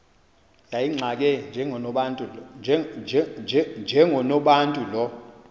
yayimxake njengonobantu lo